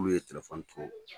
Olu ye telefɔni to